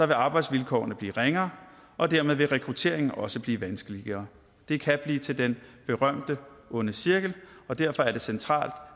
vil arbejdsvilkårene blive ringere og dermed vil rekrutteringen også blive vanskeligere det kan blive til den berømte onde cirkel og derfor er det centralt